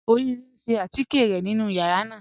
Orire n ṣẹ̀ àtíkẹ̀ rẹ̀ nínu yàrá náà.